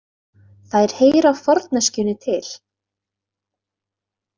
Þær heyra forneskjunni til.